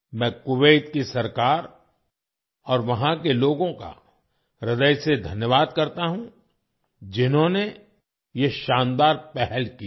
मैं कुवैत की सरकार और वहाँ के लोगों का हृदय से धन्यवाद करता हूँ जिन्होंने ये शानदार पहल की है